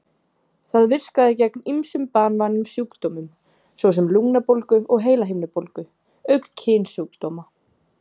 Það virkaði gegn ýmsum banvænum sjúkdómum, svo sem lungnabólgu og heilahimnubólgu, auk kynsjúkdóma.